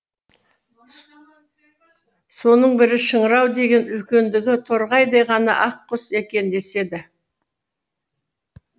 соның бірі шыңырау деген үлкендігі торғайдай ғана ақ құс екен деседі